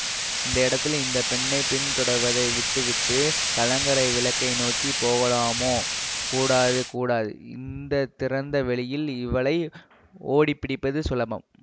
இந்த இடத்தில் இந்த பெண்ணை பின்தொடர்வதை விட்டுவிட்டுக் கலங்கரை விளக்கை நோக்கி போகலாமோ கூடாதுகூடாது இந்த திறந்த வெளியில் இவளை ஓடி பிடிப்பது சுலபம்